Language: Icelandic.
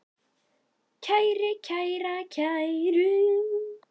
kæri, kæra, kæru